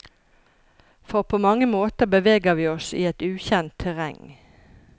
For på mange måter beveger vi oss i et ukjent terreng.